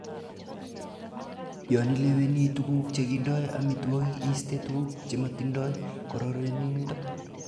Yon ileweni tuguk chekindo amitwogik iiste tuguk chemotindo kororonindo.